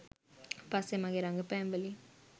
පස්සේ මගේ රඟපෑම්වලින්